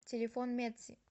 телефон медси